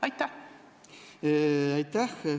Aitäh!